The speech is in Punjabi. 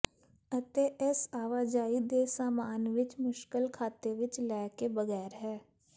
ਅਤੇ ਇਸ ਆਵਾਜਾਈ ਦੇ ਸਾਮਾਨ ਵਿਚ ਮੁਸ਼ਕਲ ਖਾਤੇ ਵਿੱਚ ਲੈ ਕੇ ਬਗੈਰ ਹੈ